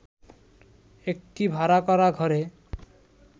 একটি ভাড়া করা ঘরে